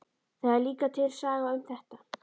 Það er líka til saga um þetta.